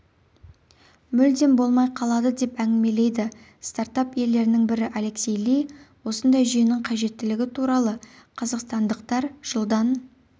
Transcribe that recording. мүлдем болмай қаладыдеп әңгімелейді стартап иелерінің бірі алексей ли осындай жүйенің қажеттілігі туралы қазақстандықтар жылдан